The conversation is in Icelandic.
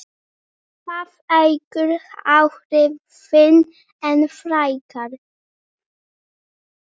Það eykur áhrifin enn frekar.